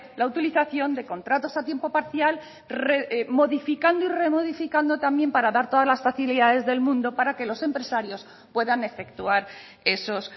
la utilización de contratos a tiempo parcial modificando y remodificando también para dar todas las posibilidades del mundo para que los empresarios puedan efectuar esos